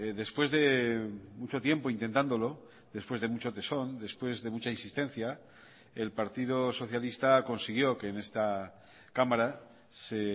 después de mucho tiempo intentándolo después de mucho tesón después de mucha insistencia el partido socialista consiguió que en esta cámara se